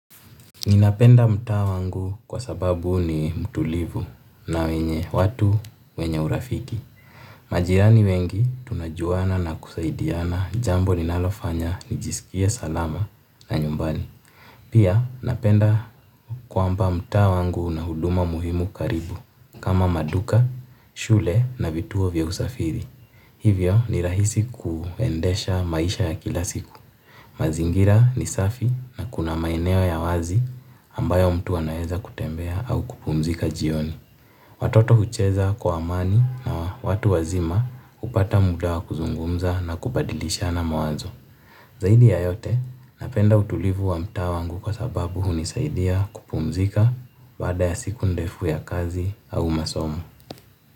Ninapenda mtaa wangu kwa sababu ni mtulivu na wenye watu wenye urafiki. Majirani wengi tunajuana na kusaidiana jambo linalofanya nijisikie salama na nyumbani. Pia napenda kwamba mtaa wangu una huduma muhimu karibu kama maduka, shule na vituo vya usafiri. Hivyo ni rahisi kuendesha maisha ya kila siku mazingira ni safi na kuna maeneo ya wazi ambayo mtu anaweza kutembea au kupumzika jioni. Watoto hucheza kwa amani na watu wazima hupata muda wa kuzungumza na kubadilishana mawazo. Zaidi ya yote napenda utulivu wa mtaa wangu kwa sababu hunisaidia kupumzika baada ya siku ndefu ya kazi au masomo.